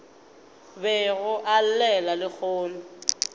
bego a e llela lehono